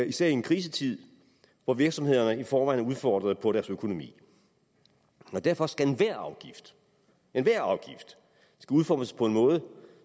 især i en krisetid hvor virksomhederne i forvejen er udfordret på deres økonomi derfor skal enhver afgift enhver afgift udformes på en måde